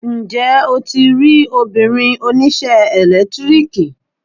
Ǹjẹ́ o ti rí obìnrin oníṣẹ́ ẹ̀lẹ́tíríkì?